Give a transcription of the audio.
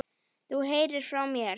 Þú heyrir frá mér.